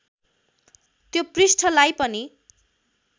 त्यो पृष्ठलाई पनि